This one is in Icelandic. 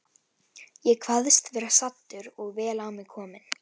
Ég kvaðst vera saddur og vel á mig kominn.